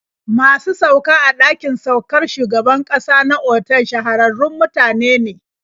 Masu sauka a ɗakin saukar shugaban ƙasa na otal shahararrun mutane ne.